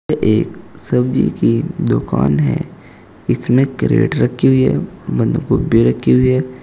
यह एक सब्जी की दुकान है इसमें कैरेट रखी हुई है बंद गोभी रखी हुई है।